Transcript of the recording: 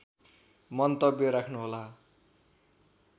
मन्तव्य राख्नु होला